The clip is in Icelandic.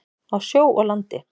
Á sjó og landi.